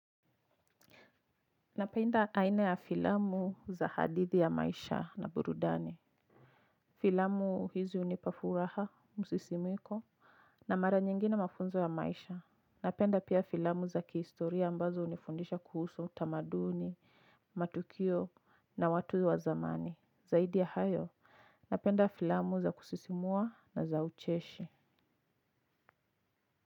Napenda aina ya filamu za hadithi ya maisha na burudani. Filamu hizi hunipa furaha, msisimuko, na mara nyingine mafunzo ya maisha. Napenda pia filamu za kihistoria ambazo hunifundisha kuhusu utamaduni, matukio na watu wa zamani. Zaidi ya hayo, napenda filamu za kusisimua na za ucheshi.